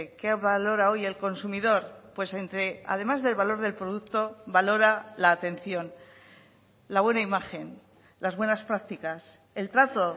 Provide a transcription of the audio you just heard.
qué valora hoy el consumidor pues entre además del valor del producto valora la atención la buena imagen las buenas practicas el trato